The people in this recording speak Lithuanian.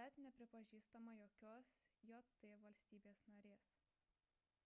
bet nepripažįstama jokios jt valstybės narės